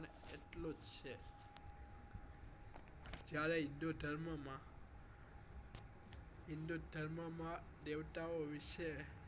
જયારે હિંદુધર્મ માં હિન્દુધર્મ માં દેવતા ઓ વિશે